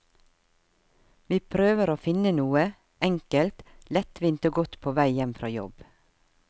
Vi prøver å finne noe, enkelt, lettvint og godt på vei hjem fra jobb.